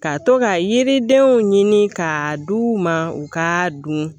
Ka to ka yiridenw ɲini ka d'u ma u ka dun